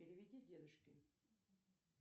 переведи дедушке